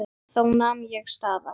Þá nam ég staðar.